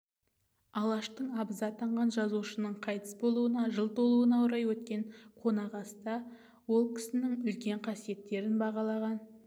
алаштың абызы атанған жазушының қайтыс болуына жыл толуына орай өткен қонақасыда ол кісінің үлкен қасиеттерін бағалаған